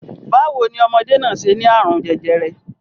Báwo ní ọmọdé náà ṣe ní àrùn jẹjẹrẹ?